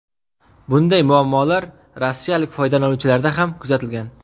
Bunday muammolar rossiyalik foydalanuvchilarda ham kuzatilgan.